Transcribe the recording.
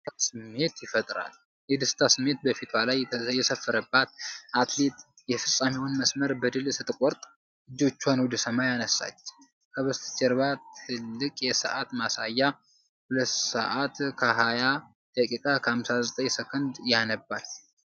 የደስታ ስሜት በፊቷ ላይ የሰፈረባት አትሌት የፍጻሜውን መስመር በድል ስትቆርጥ እጆቿን ወደ ሰማይ አነሳች። ከበስተጀርባ ትልቅ የሰዓት ማሳያ 2:20.59 ያነባል።